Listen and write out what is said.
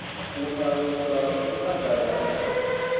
u aluswa ha u phaḓaladzwa